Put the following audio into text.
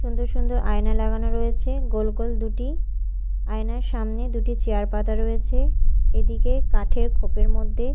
সুন্দর সুন্দর আয়না লাগানো রয়েছে গোল গোল দুটি আয়নার সামনে দুটি চেয়ার পাতা রয়েছে এদিকে কাঠের খোপের মধ্যে--